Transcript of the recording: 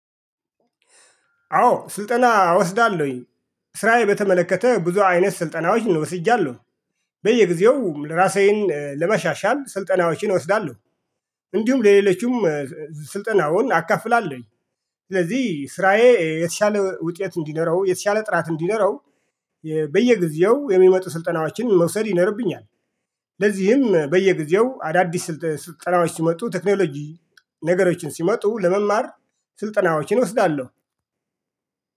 አዎ ስልጠና እወስዳለሁኝ። ስራዬ በተመለከተ ብዙ አይነት ስልጠናዎችን ወስጃለሁ። በየጊዜው ራሳዬን ለመሻሻል ስልጠናዎችን እወስዳለሁ። እንዲሁም ለሌሎችም ስልጠናውን አካፍላለሁኝ። ስለዚህ ስራዬ የተሻለ ውጤት እንዲኖረው የተሻለ ጥራት እንዲኖረው በየጊዜው የሚመጡ ስልጠናዎችን መውሰድ ይኖርብኛል። ለዚህም በየጊዜው አዳዲስ ስልጠናዎች ሲመጡ ቴክኖሎጂ ነገሮችን ሲመጡ ለመማር ስልጠናዎችን እወስዳለሁ